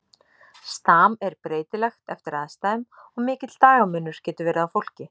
Stam er breytilegt eftir aðstæðum og mikill dagamunur getur verið á fólki.